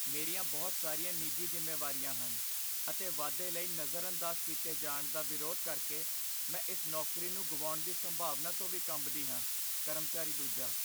ਮੇਰੀਆਂ ਬਹੁਤ ਸਾਰੀਆਂ ਨਿੱਜੀ ਜ਼ਿੰਮੇਵਾਰੀਆਂ ਹਨ ਅਤੇ ਵਾਧੇ ਲਈ ਨਜ਼ਰਅੰਦਾਜ਼ ਕੀਤੇ ਜਾਣ ਦਾ ਵਿਰੋਧ ਕਰਕੇ ਮੈਂ ਇਸ ਨੌਕਰੀ ਨੂੰ ਗੁਆਉਣ ਦੀ ਸੰਭਾਵਨਾ ਤੋਂ ਵੀ ਕੰਬਦੀ ਹਾਂ ਕਰਮਚਾਰੀ ਦੂਜਾ